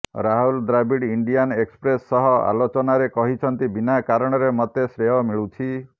Rahul Dravid Indian Express ସହ ଆଲୋଚନାରେ କହିଛନ୍ତି ବିନା କାରଣରେ ମୋତେ ଶ୍ରେୟ ମିଳୁଛି